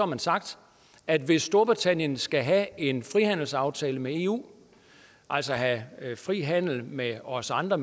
har sagt at hvis storbritannien skal have en frihandelsaftale med eu altså have fri handel med os andre